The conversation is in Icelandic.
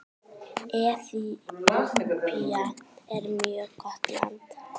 Eþíópía er mjög gott land.